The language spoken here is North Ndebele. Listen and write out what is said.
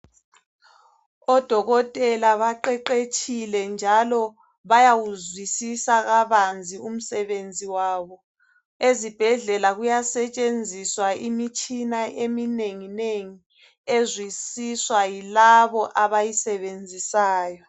Odokotela baqeqetshile njalo bayawuzwisisa kabanzi umsebenzi wabo. Ezibhedlela kuyasetshenziswa imitshina eminengi nengi ezwisiswa yilabo abayisebenzisayo.